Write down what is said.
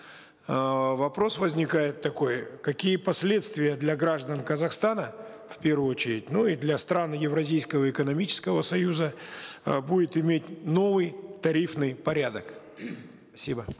эээ вопрос возникает такой какие последствия для граждан казахстана в первую очередь ну и для стран евразийского экономического союза э будет иметь новый тарифный порядок спасибо